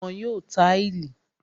Wọ́n yóò táìlì